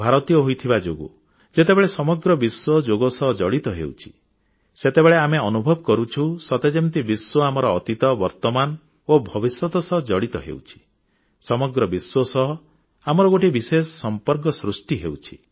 ଭାରତୀୟ ହୋଇଥିବା ଯୋଗୁଁ ଯେତେବେଳେ ସମଗ୍ର ବିଶ୍ୱ ଯୋଗ ସହ ଜଡ଼ିତ ହେଉଛି ସେତେବେଳେ ଆମେ ଅନୁଭବ କରୁଛୁ ସତେ ଯେମିତି ସାରା ବିଶ୍ୱ ସହିତ ଆମର ଗୋଟିଏ ବିଶେଷ ସମ୍ପର୍କ ସୃଷ୍ଟି ହେଉଛି